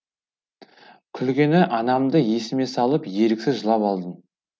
күлгені анамды есіме салып еріксіз жылап алдым